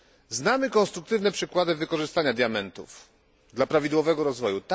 Znamy konstruktywne przykłady wykorzystania diamentów dla prawidłowego rozwoju.